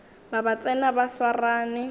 ba ba tsena ba swarane